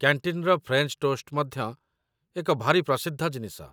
କ‍୍ୟାଣ୍ଟିନ୍‌ର French toast ମଧ୍ୟ ଏକ ଭାରି ପ୍ରସିଦ୍ଧ ଜିନିଷ